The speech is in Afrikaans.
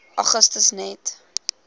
augustus net